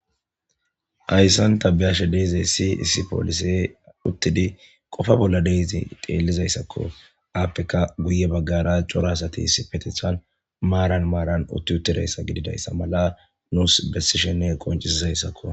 Hayssan tabiyashe deeze siisi poolise uttidi qofa bolla deezi teellizayssakko aappeka guye baggara cora asati sipetethan maaran maaran utti uttidayssa gididayssa mala nuus bessishinne qoncisizayssakko.